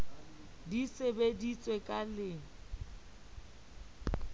di se sebetswe ka le